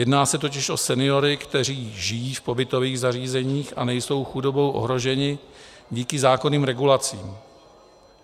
Jedná se totiž o seniory, kteří žijí v pobytových zařízeních a nejsou chudobou ohroženi díky zákonným regulacím.